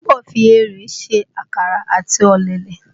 Iyabọ̀ fi erèé se àkàrà àti ọ̀lẹ̀lẹ̀